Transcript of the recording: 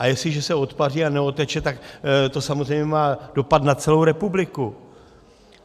A jestliže se odpaří a neodteče, tak to samozřejmě má dopad na celou republiku.